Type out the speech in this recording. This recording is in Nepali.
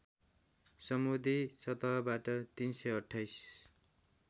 समुद्री सतहबाट ३२८